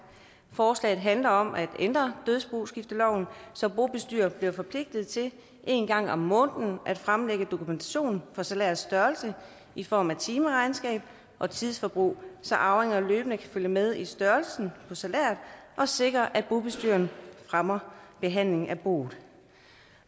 forslaget handler om at ændre dødsboskifteloven så bobestyrere bliver forpligtet til en gang om måneden at fremlægge dokumentation for salærets størrelse i form af timeregnskab og tidsforbrug så arvinger løbende kan følge med i størrelsen på salæret og sikre at bobestyreren fremmer behandlingen af boet